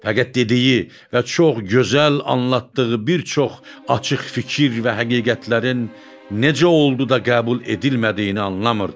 Fəqət dediyi və çox gözəl anlatdığı bir çox açıq fikir və həqiqətlərin necə oldu da qəbul edilmədiyini anlamırdı.